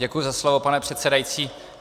Děkuji za slovo, pane předsedající.